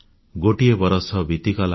ଗୋଟିଏ ବରଷ ବିତିଗଲା